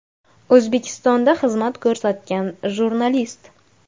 O‘zbekistonda xizmat ko‘rsatgan jurnalist.